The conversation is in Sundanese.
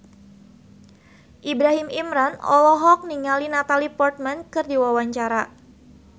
Ibrahim Imran olohok ningali Natalie Portman keur diwawancara